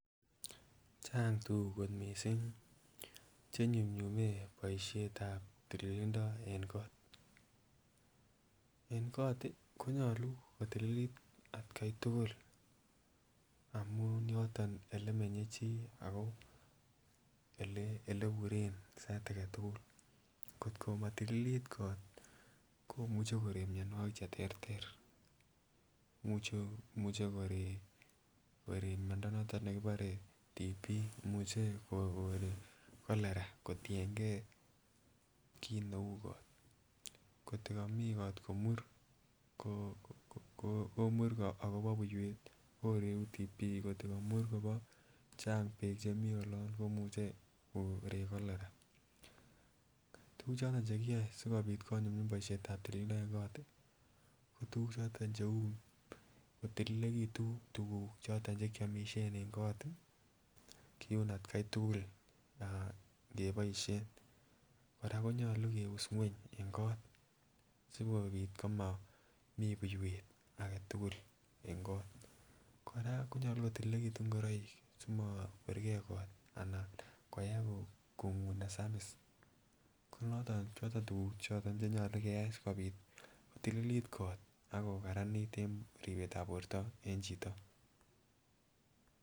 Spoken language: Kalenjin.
Chang tukuk kot missing che inyumyume boishet ab tililindo en kot. En kot tii konyolu kotililit atgai tukul amun yoton olemenye chii ako ele eliburen sait agetukul kotko motililit kot komuche korek mionwokik cheterter. Imuche korek korek miondo noton nekibore TB, imuche korek Cholera kotiyengee kit neu kot kotko koomin kot komie ko komur ,komur akobo buiwek koreku TB, kotko komur Kobo Chang beek chemii olon komuche korek Cholera. Tukuk choton chekiyoe sikopit konyumyum boishetab tililindo en kot tii ko tukuk choton cheu kotililekitun tukuk choton chekiomishen en kot tii kiun atgai tukul ngeboishen koraa konyolu keus ngweny en kot sikopit komomii buiwek aketukul en kot. Koraa konyolu kotililekitun ngoroik simokwer gee kot koyai konguu nesamis, konoton choton tukuk cheyolu keyai sikopit kotililit kot akokaranit en ripetab borto en chito.